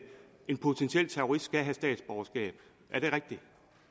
en potentiel terrorist skal have statsborgerskab er det rigtigt